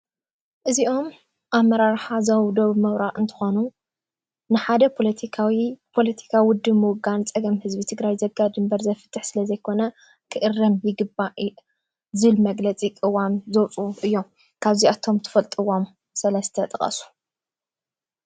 እዚኦም ኣመራርሓ ዞባ ደቡብ ምብራቅ እንትኮኑ ሓደ ፖሎቲካዊ ፖሎቲካ ውድብ ምውጋን ፀገም ህዝቢ ዘጋድድ እምበር ዘፍትሕ ዘይኮነ ክእረም ይግባእ ዝብል መግለፂ ቁዋም ዘውፅኡ እዮም። ካብ ዚኣቶም ትፈልጥዎም ሰለስተ ጥቀሱ።